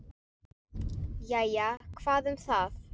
Jæja, hvað um það.